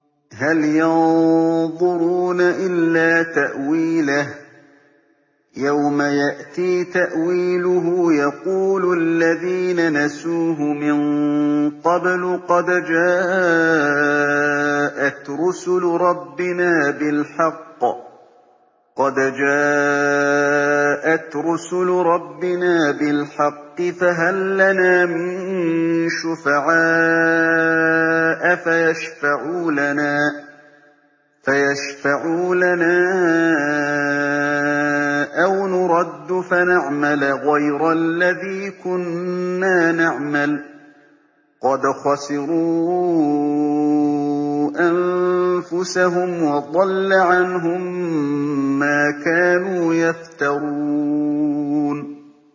هَلْ يَنظُرُونَ إِلَّا تَأْوِيلَهُ ۚ يَوْمَ يَأْتِي تَأْوِيلُهُ يَقُولُ الَّذِينَ نَسُوهُ مِن قَبْلُ قَدْ جَاءَتْ رُسُلُ رَبِّنَا بِالْحَقِّ فَهَل لَّنَا مِن شُفَعَاءَ فَيَشْفَعُوا لَنَا أَوْ نُرَدُّ فَنَعْمَلَ غَيْرَ الَّذِي كُنَّا نَعْمَلُ ۚ قَدْ خَسِرُوا أَنفُسَهُمْ وَضَلَّ عَنْهُم مَّا كَانُوا يَفْتَرُونَ